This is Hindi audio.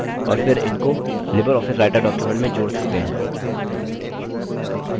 और फिर इनको libreoffice writer document में जोड़ सकते हैं